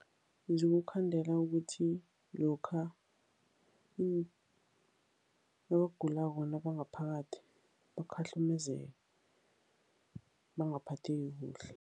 Zikukhandela ukuthi lokha nabagulako nabangaphakathi, bakhahlumezeke, bangaphatheki kuhle.